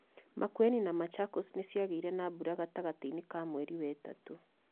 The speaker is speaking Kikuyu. Makueni na Machakos nĩ ciagĩire na mbura gatagatĩ-inĩ ka mweri wetatũ.